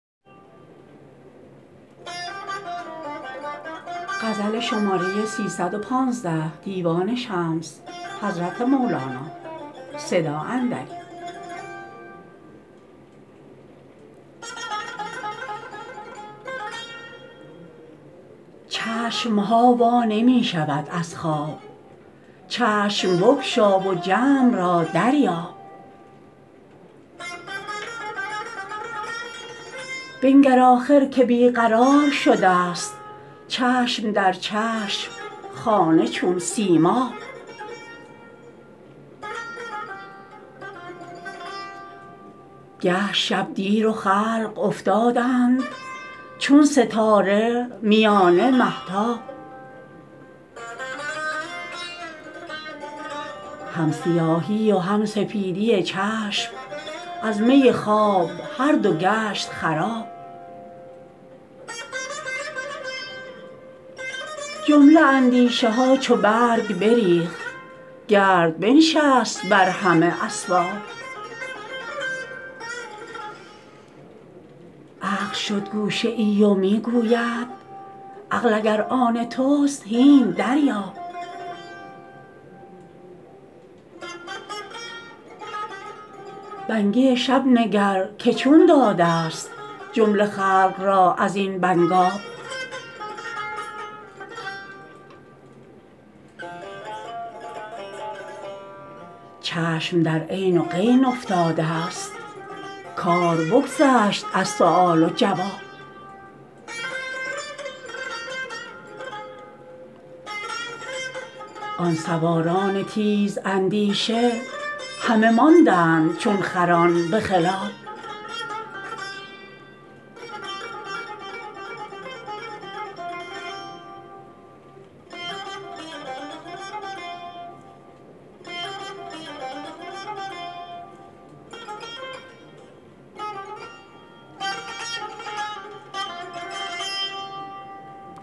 چشم ها وا نمی شود از خواب چشم بگشا و جمع را دریاب بنگر آخر که بی قرار شدست چشم در چشم خانه چون سیماب گشت شب دیر و خلق افتادند چون ستاره میانه مهتاب هم سیاهی و هم سپیدی چشم از می خواب هر دو گشت خراب جمله اندیشه ها چو برگ بریخت گرد بنشست بر همه اسباب عقل شد گوشه ای و می گوید عقل اگر آن تست هین دریاب بنگی شب نگر که چون دادست جمله خلق را از این بنگاب چشم در عین و غین افتادست کار بگذشت از سؤال و جواب آن سواران تیزاندیشه همه ماندند چون خران به خلاب